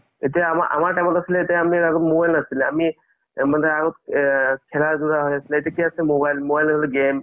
এতিয়া আ আ আমাৰ time ত আছিলে আমি mobile নাছিলে আ খেলাৰ mobile game